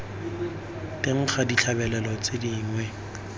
teng ga ditlabelo tse dingwe